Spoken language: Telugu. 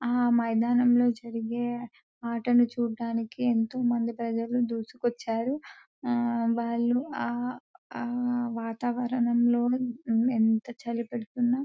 ఆ మైదానం లో జరిగే అటని చూడడానికి ఏంటో మంది ప్రజలు ధూసుకోచారు. ఆ వాలు ఆ ఆ వాతావరణం లో ఏంత చలీ పెడుతున్న --